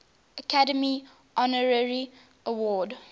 academy honorary award